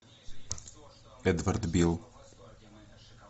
эдвард бил